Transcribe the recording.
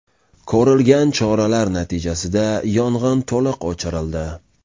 Ko‘rilgan choralar natijasida yong‘in to‘liq o‘chirildi.